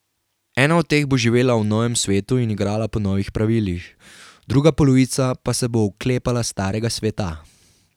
Ena od teh bo živela v novem svetu in igrala po novih pravilih, druga polovica pa se bo oklepala starega sveta.